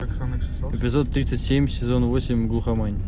эпизод тридцать семь сезона восемь глухомань